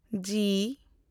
ᱡᱤ